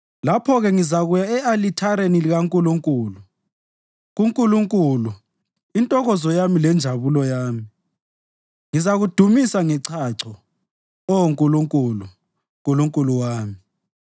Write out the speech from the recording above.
Lapho-ke ngizakuya e-alithareni likaNkulunkulu, kuNkulunkulu, intokozo yami lenjabulo yami. Ngizakudumisa ngechacho, Oh Nkulunkulu, Nkulunkulu wami.